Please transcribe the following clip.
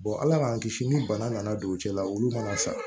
ala k'an kisi ni bana nana don u cɛla la olu mana sa